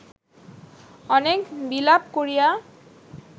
অনেক বিলাপ করিয়া